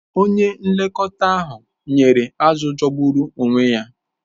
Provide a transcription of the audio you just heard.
Onye nlekọta ahụ nyere azụ̀ jọgburu onwe ya.